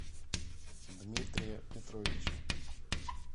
дмитрия петровича